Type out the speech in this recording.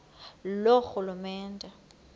loorhulumente